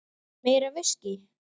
Meira viskí.